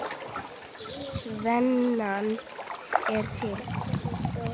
Tvennt er til.